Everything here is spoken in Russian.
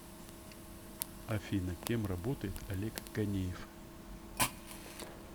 афина кем работает олег ганеев